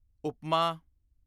ਉਪਮਾ